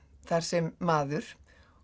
þar sem maður